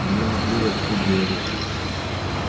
мне наплевать пусть говорят